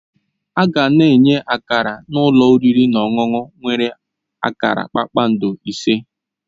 A ga-enye Akara na ụlọ oriri na ọṅụṅụ nwere akara kpakpando ise